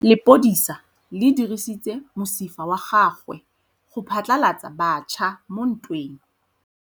Lepodisa le dirisitse mosifa wa gagwe go phatlalatsa batšha mo ntweng.